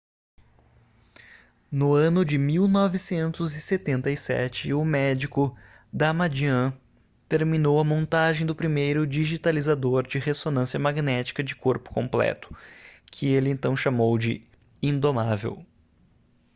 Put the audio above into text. no ano de 1977 o médico damadian terminou a montagem do primeiro digitalizador de ressonância magnética de corpo completo que ele então chamou de indomável